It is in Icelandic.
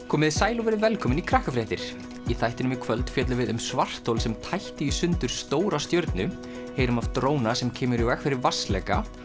komiði sæl og verið velkomin í í þættinum í kvöld fjöllum við um svarthol sem tætti í sundur stóra stjörnu heyrum af dróna sem kemur í veg fyrir vatnsleka